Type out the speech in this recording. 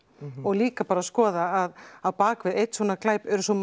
og líka bara að skoða að á bakvið einn svona glæp eru svo